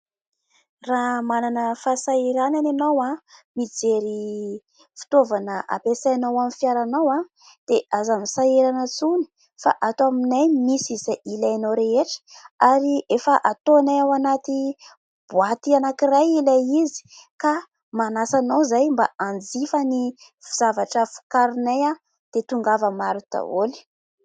Raha manana fahasahiranana ianao an!mijery fitoavana ampiasainao amin'ny fiaranao an!dia aza misahirana intsony fa ato aminay misy izay ilainao rehetra ary efa ataonay ao anaty boaty anankiray ilay izy ka manasa anao izahay mba hanjifa ny zavatra vokarinay an!dia tongava maro daholy.